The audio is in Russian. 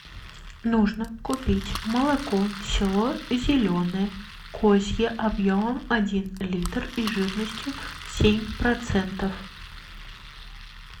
нужно купить молоко село зеленое козье объемом один литр и жирностью семь процентов